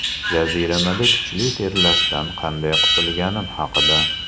Jaziramada kuchli terlashdan qanday qutilganim haqida.